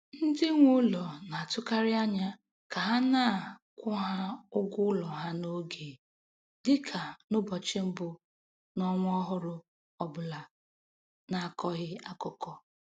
Ndị nwe ụlọ na-atụkarị anya ka a na-akwụ ha ụgwọ ụlọ ha n'oge, dị ka n'ụbọchị mbụ n'ọnwa ọhụrụ ọbụla na-akọghị akụkọ.